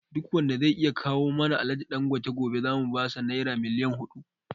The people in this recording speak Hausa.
Duk wanda zai iya kawo mana Alhaji Dangote gobe zamu basa Naira miliyon hudu